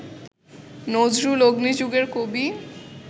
নজরুল অগ্নিযুগের কবি